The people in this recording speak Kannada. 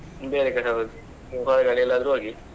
ಬೇರೆ ಕಡೆ ಹೋಗಿ ಎಲ್ಲಾದ್ರೂ ಹೋಗಿ.